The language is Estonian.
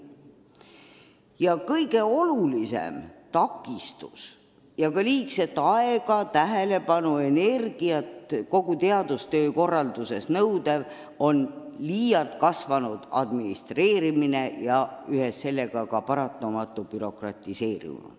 Teadustöö korralduses on kõige suurem takistus, mille ületamine nõuab palju aega, tähelepanu ja energiat, liialt kasvanud administreerimine ning ühes sellega ka paratamatu bürokratiseerimine.